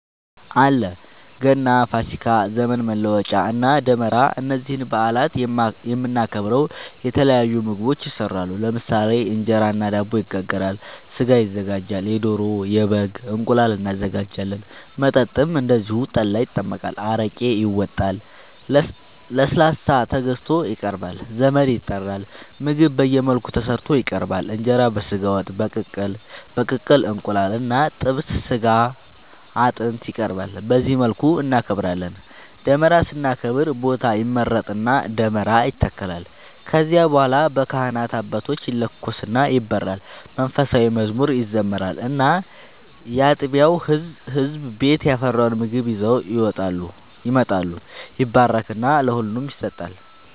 አለ ገና፣ ፋሲካ፣ ዘመን መለወጫ እና ደመራ እነዚህን በአላት የምናከብረው የተለያዩ ምግቦች ይሰራሉ ለምሳሌ እንጀራ እና ዳቦ ይጋገራል፣ ስጋ ይዘጋጃል የዶሮ፣ የበግም፣ እንቁላል እናዘጋጃለን። መጠጥም እንደዚሁ ጠላ ይጠመቃል፣ አረቄ ይወጣል፣ ለስላሳ ተገዝቶ ይቀርባል ዘመድ ይጠራል ምግብ በየመልኩ ተሰርቶ ይቀርባል እንጀራ በስጋ ወጥ፣ በቅቅል እንቁላል እና ጥብስ ስጋ አጥንት ይቀርባል በዚህ መልኩ እናከብራለን። ደመራን ስናከብር ቦታ ይመረጥና ደመራ ይተከላል ከዚያ በኋላ በካህናት አባቶች ይለኮስና ይበራል መንፉሳዊ መዝሙር ይዘመራል እና ያጥቢያው ህዝብ ቤት ያፈራውን ምግብ ይዘው ይመጣሉ ይባረክና ለሁሉም ይሰጣል።